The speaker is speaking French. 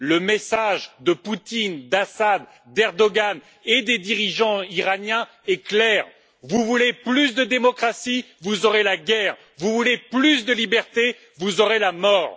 Le message de Poutine, d'Assad, d'Erdoğan et des dirigeants iraniens est clair vous voulez plus de démocratie, vous aurez la guerre, vous voulez plus de liberté, vous aurez la mort.